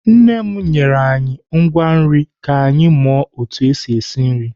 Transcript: Nne m nyere anyị ngwa nri ka anyị mụwa otu esi esi nri.